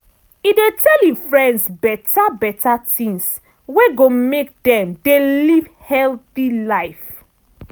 e dey tell e friends beta beta tings wey go make dem dey live healthy life.